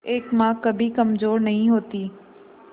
एक मां कभी कमजोर नहीं होती